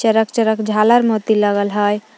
चरक चरक झालर मोती लगल हय।